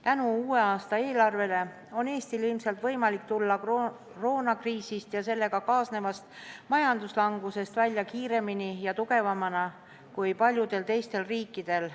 Tänu uue aasta eelarvele on Eestil ilmselt võimalik tulla koroonakriisist ja sellega kaasnevast majanduslangusest välja kiiremini ja tugevamana kui paljudel teistel riikidel.